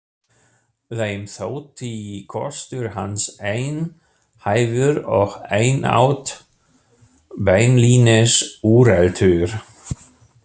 Þeim þótti kostur hans einhæfur og einatt beinlínis úreltur.